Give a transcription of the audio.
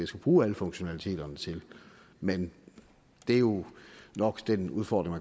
skulle bruge alle funktionaliteterne til men det er jo nok den udfordring